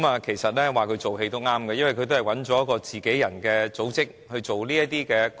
其實說她做戲也對，因為他們都是找自己人的組織來營運這"光屋"。